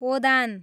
ओदान